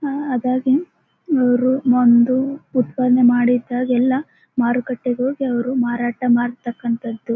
ಹಾ ಅದಾಗೇ ರು ಒಂದು ಉತ್ಪಾದ್ನೇ ಮಾಡಿದ್ದ ಎಲ್ಲ ಮಾರುಕಟ್ಟೆಗೆ ಹೋಗಿ ಅವರು ಮಾರಾಟ ಮಾಡ್ತಕ್ಕಂತದ್ದು.